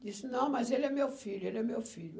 Disse, não, mas ele é meu filho, ele é meu filho.